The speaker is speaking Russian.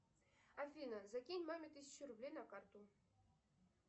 афина закинь маме тысячу рублей на карту